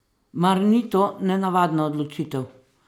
Mar ni to nenavadna odločitev?